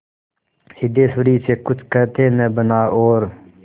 सिद्धेश्वरी से कुछ कहते न बना और